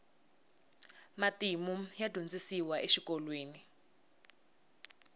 matimu ya dyondzisiwa exikolweni